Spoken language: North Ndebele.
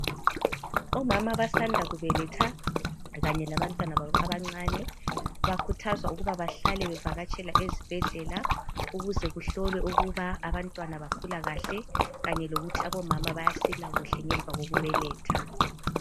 Omama abasanda kubeletha kanye labantwana babo abancane bakhuthazwa ukuba bahlale bevakatshela esibhedlela ukuze kuhlolwe ukuba abantwana bakhula kahle kanye lokuthi abomama basila kuhle ngemva kokubeletha.